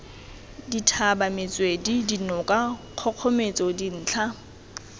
dithaba metswedi dinoka kgogometso dintlha